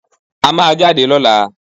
A má a jáde lọ́la